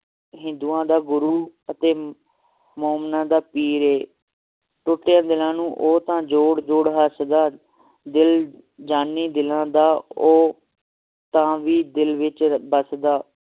ਹਿੰਦੂਆਂ ਦਾ ਗੁਰੂ ਅਤੇ ਮੋਮਨਾਂ ਦਾ ਪੀਰ ਹੈ ਟੁੱਟਿਆਂ ਦਿਲਾਂ ਨੂੰ ਉਹ ਤਾ ਜੋੜ ਜੋੜ ਹੱਸਦਾ ਦਿਲ ਜਾਨੀ ਦਿਲਾਂ ਦਾ ਉਹ ਤਾ ਵੀ ਦਿਲ ਵਿਚ ਵੱਸਦਾ